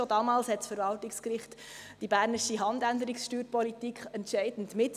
Schon damals prägte das Verwaltungsgericht die bernische Handänderungssteuerpolitik entscheidend mit.